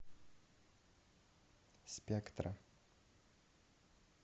спектра